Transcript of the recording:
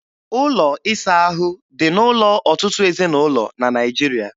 Ụlọ ịsa ahụ dị n'ụlọ ọtụtụ ezinụlọ na Naịjiria